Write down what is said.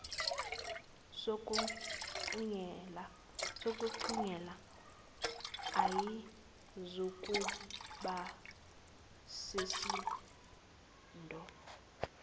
sokuncela ayizukuba besisindo